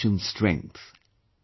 This is the nation's strength